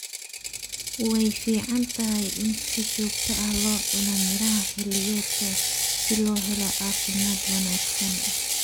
Way fiican tahay in si joogto ah loo cuno miraha xilliyeedka si loo helo caafimaad wanaagsan